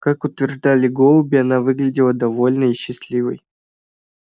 как утверждали голуби она выглядела довольной и счастливой